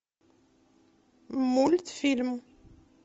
мультфильм